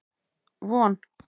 Von